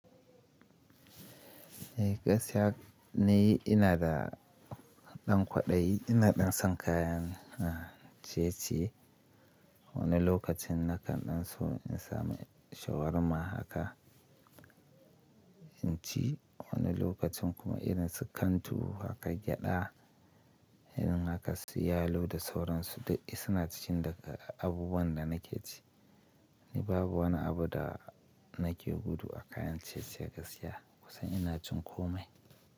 Eh gaskiya ni ina da ɗan kwaɗayi, ina ɗan san kayan, ah, ciye ciye. Wani lokacin nakan ɗan so in samu shawarma haka in ci. Wani lokacin kuma irin su kantu haka gyada, irin haka su yalo da sauransu duk suna cikin daga abubuwan da nake ci. Ni babu wani abu da nake gudu a kayan ciye ciye gaskiya, kusan ina cin komai.